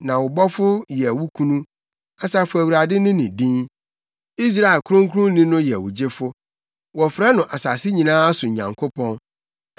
Na wo Bɔfo yɛ wo kunu Asafo Awurade ne ne din, Israel Kronkronni no yɛ wo Gyefo. Wɔfrɛ no asase nyinaa so Nyankopɔn.